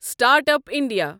start up India